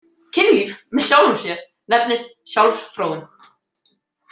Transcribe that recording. „Kynlíf“ með sjálfum sér nefnist sjálfsfróun.